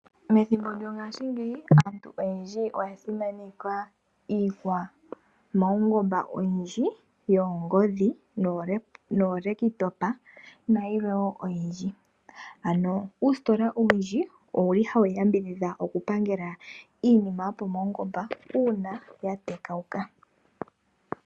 Methimbo lyongashingeyi aantu oyendji oya simaneka iikwamawungomba oyindji yoongodhi noolekitopa nayilwe oyindji. Uusitola owundji owuli hawu yambidhidha okupangela iinima yopamawungomba uuna ya tekawuka.